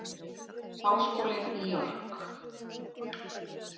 Háskólinn í York.